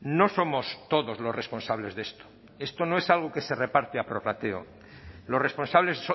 no somos todos los responsables de esto esto no es algo que se reparte a prorrateo los responsables